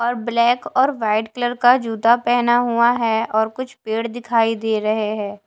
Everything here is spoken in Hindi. और ब्लैक और वाइट कलर का जूता पहना हुआ है और कुछ पेड़ दिखाई दे रहे हैं।